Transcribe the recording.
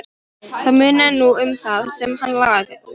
Það munaði nú um það sem hann lagði til.